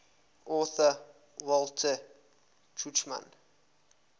author walter tuchman